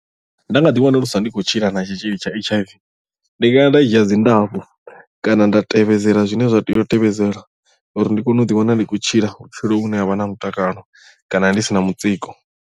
Nda nga ḓi wanuluswa ndi khou tshila na tshitzhili tsha H_I_V ndi ngaya nda dzhia dzindafho kana nda tevhedzela zwine zwa tea u tevhedzela uri ndi kone u ḓiwana ndi khou tshila vhutshilo vhune havha na mutakalo kana ndi sina mutsiko.